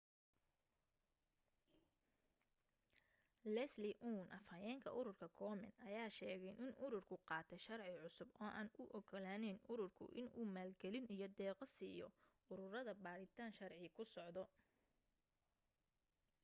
leslie aun afhayeenka ururka komen ayaa sheegay in ururku qaatay sharci cusub oo aan u ogolaanayn ururku inuu maalgelin iyo deeqo siiyo ururada baadhitaan sharci ku socdo